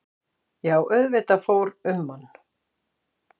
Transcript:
Já auðvitað fór um mann.